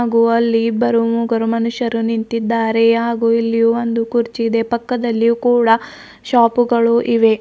ಗು ಅಲ್ಲಿ ಇಬ್ಬರು ಮೂಗರು ಮನುಷ್ಯರು ನಿಂತಿದ್ದಾರೆ ಹಾಗು ಇಲ್ಲಿ ಒಂದು ಕುರ್ಚಿ ಇದೆ ಪಕ್ಕಾದಲ್ಲಿ ಕೂಡ ಶಾಪುಗಳು ಇವೆ.